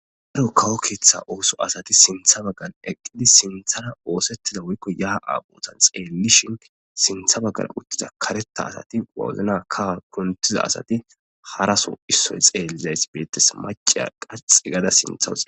Haro kawo keetha ooso asati sintha baggal eqqidi sinthara oosettida woykko yaa'a boozan xeellishin sintha baggal uttiza kareta asati wawozna kawa kuntiza asati haraso issoy xeellizays beettes maciya qaxi gada sinthaa